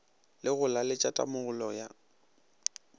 le go laletša tamolo ya